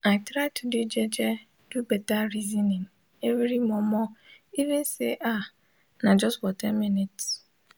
i try to de jeje do beta resonin everi momo even say ah nah jus for ten mins